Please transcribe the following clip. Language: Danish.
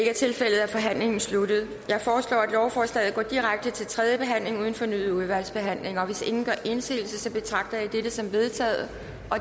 er tilfældet er forhandlingen sluttet jeg foreslår at lovforslaget går direkte til tredje behandling uden fornyet udvalgsbehandling hvis ingen gør indsigelse betragter jeg det som vedtaget